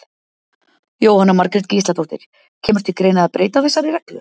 Jóhanna Margrét Gísladóttir: Kemur til greina að breyta þessari reglu?